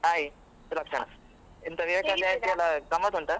Hai , Sulakshana Jayanti ಎಲ್ಲ ಗಮ್ಮತ್ತು ಉಂಟಾ?